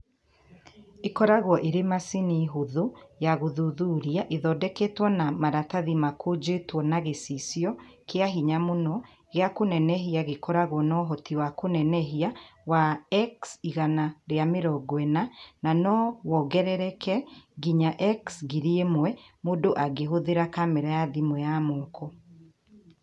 Ikoragwo ĩrĩ macini hũthũ ya gũthuthuria ĩthondeketwo na maratathi makũnjĩtwo na gĩcicio kĩa hinya mũno gĩa kũnenehia gĩkoragwo na ũhoti wa kũneneha wa X140, na no wongerereke nginya X1000 mũndũ angĩhũthĩra kamera ya thimũ ya moko.